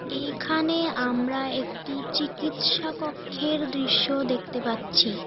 এইখানে আমরা একটি চিকিৎসা কক্ষের দৃশ্য দেখতে পাচ্ছি।